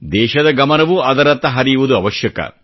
ದೇಶದ ಗಮನವೂ ಅದರತ್ತ ಹರಿಯುವುದು ಅವಶ್ಯಕ